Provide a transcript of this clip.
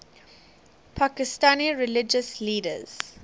pakistani religious leaders